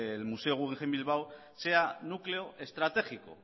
el museo guggenheim bilbao sea núcleo estratégico